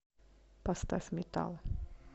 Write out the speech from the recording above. поставь метал